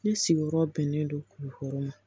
Ne sigiyɔrɔ bɛnnen don kulukɔrɔ ma